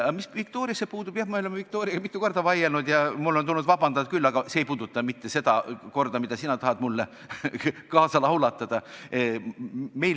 Mis puudutab Viktoriat, siis jah, me oleme Viktoriaga mitu korda vaielnud ja mul on tulnud ka vabandada, aga see ei puuduta mitte seda korda, millega sina tahad mind laulatada.